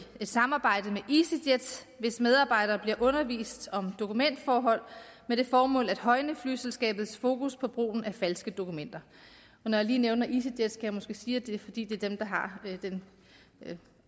et samarbejde med easyjet hvis medarbejdere bliver undervist om dokumentforhold med det formål at højne flyselskabets fokus på brugen af falske dokumenter og når jeg lige nævner easyjet skal jeg måske sige at det er fordi det er dem der har den